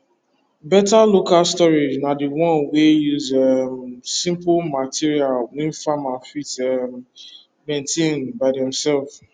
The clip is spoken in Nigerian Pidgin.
better local storage na the one wey use um simple material wey farmer fit um maintain by demself